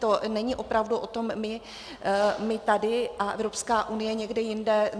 To není opravdu o tom, my tady a Evropská unie někde jinde.